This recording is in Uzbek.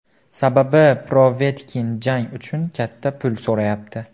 Sababi Povetkin jang uchun katta pul so‘rayapti.